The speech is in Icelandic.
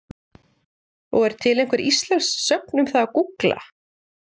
Og er til einhver íslensk sögn um það að gúgla?